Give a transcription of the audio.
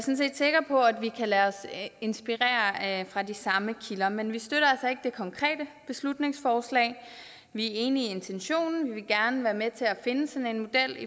sikker på at vi kan lade os inspirere af de samme kilder men vi støtter altså ikke det konkrete beslutningsforslag vi er enige i intentionen og vil gerne være med til at finde sådan en model